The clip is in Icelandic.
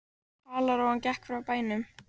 Halarófan gekk frá bænum.